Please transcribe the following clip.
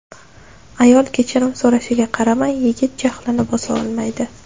Ayol kechirim so‘rashiga qaramay, yigit jahlini bosa olmaydi.